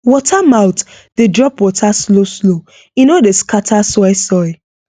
water mouth dey drop water slowslow e no dey scatter soil soil